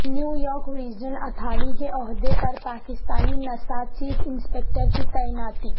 New York regional authority کے عہدے پر پاکستانی نژاد چیف انسپکٹر کی تعیناتی